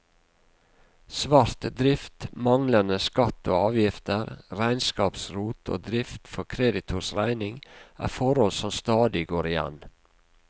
Svart drift, manglende skatt og avgifter, regnskapsrot og drift for kreditors regning er forhold som stadig går igjen.